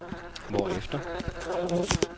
hvorefter